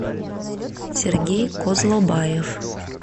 сергей козлобаев